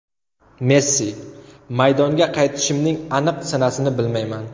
Messi: Maydonga qaytishimning aniq sanasini bilmayman.